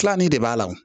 Tilanin de b'a la